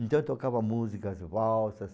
Então tocava músicas valsas.